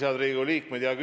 Head Riigikogu liikmed!